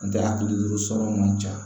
N tɛ a hakilijo sɔrɔ man ca